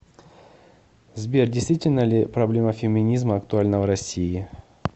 сбер действительно ли проблема феминизма актуальна в россии